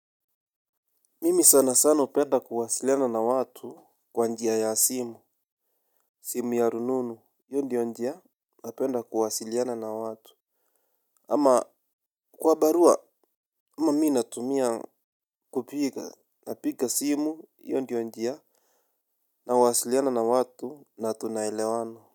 Mimi sana sana upenda kuwasiliana na watu kwa njia ya simu, simu ya rununu, hiyo ndiyo njia napenda kuwasiliana na watu. Ama kwa barua mamii natumia kupiga na piga simu hiyo ndiyo njia na wasiliana na watu na tunaelewana.